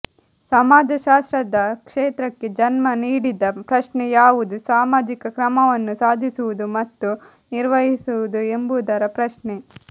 ಸಮಾಜಶಾಸ್ತ್ರದ ಕ್ಷೇತ್ರಕ್ಕೆ ಜನ್ಮ ನೀಡಿದ ಪ್ರಶ್ನೆ ಯಾವುದು ಸಾಮಾಜಿಕ ಕ್ರಮವನ್ನು ಸಾಧಿಸುವುದು ಮತ್ತು ನಿರ್ವಹಿಸುವುದು ಎಂಬುದರ ಪ್ರಶ್ನೆ